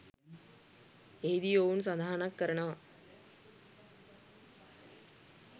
එහිදී ඔවුන් සඳහනක් කරනවා